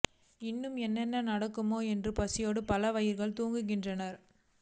இன்னும் என்னென்ன நடக்குமோ என்று பசியோடு பல வயிறுகள் தூங்குகின்றன